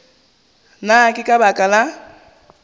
na ke ka baka la